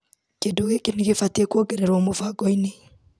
Kĩndũ gĩkĩ nĩgĩbatiĩ kuongererwo mũbango-inĩ .